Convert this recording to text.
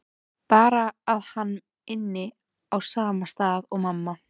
Bara að hann ynni á sama stað og mamma.